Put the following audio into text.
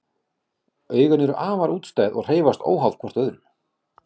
Augun eru afar útstæð og hreyfast óháð hvort öðru.